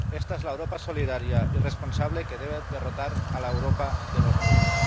Esta es la Europa solidaria y responsable que debe derrotar a la Europa de los muros.